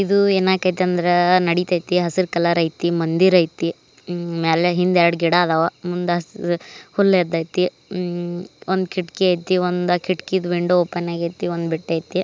ಇದು ಏನಾಕೈತಿ ಅಂದ್ರ ನಡಿತೈತಿ ಹಸಿರು ಕಲರ್ ಐತಿ ಮಂದಿರ್ ಐತಿ. ಇನ್ ಮೇಲೆ ಇನ್ನೆರಡು ಗಿಡ ಅದಾವ. ಮುಂದ ಹುಲ್ಲು ಎದ್ದೈತಿ ಒಂದು ಕಿಟಕಿ ಐತಿ ಕಿಟಕಿದು ವಿಂಡೋ ಓಪನ್ ಆಗೈತಿ ಒಂದು ಬಟ್ಟಿ ಐತಿ.